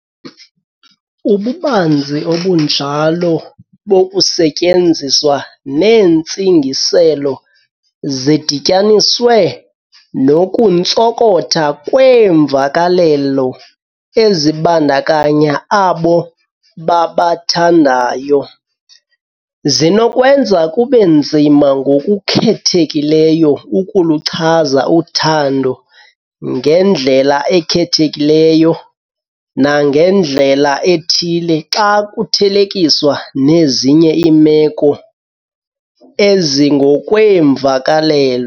Ububanzi obunjalo bokusetyenziswa neentsingiselo, zidityaniswe nokuntsonkotha kweemvakalelo ezibandakanya abo babathandayo, zinokwenza kube nzima ngokukhethekileyo ukuluchaza uthando ngendlela ekhethekileyo nangendlela ethile, xa kuthelekiswa nezinye iimeko ezingokweemvakalelo.